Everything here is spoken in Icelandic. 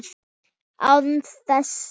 Á þessum